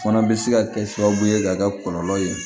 O fana bɛ se ka kɛ sababu ye ka kɛ kɔlɔlɔ ye